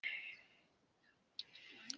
Það er búið að vera rosalega skemmtilegt.